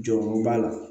Jɔyɔrɔ b'a la